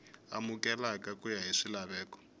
amukeleka ku ya hi swilaveko